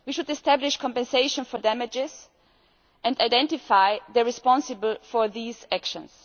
We should establish compensation for damages and identify those responsible for these actions.